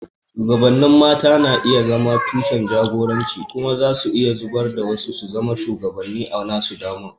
Shugabannin mata na iya zama tushen jagoranci kuma za su iya zaburar da wasu su zama shugabanni a nasu dama.